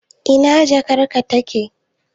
Ina jakarka take?.